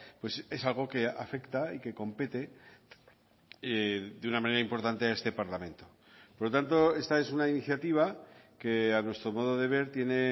pues es algo que afecta y que compete de una manera importante a este parlamento por lo tanto esta es una iniciativa que a nuestro modo de ver tiene